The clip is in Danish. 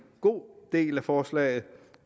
god del af forslaget